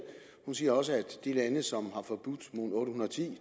hun siger også at de lande som har forbudt